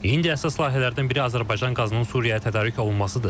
İndi əsas layihələrdən biri Azərbaycan qazının Suriyaya tədarük olunmasıdır.